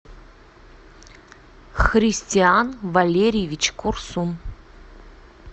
христиан валерьевич курсун